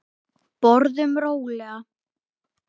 Borðum rólega.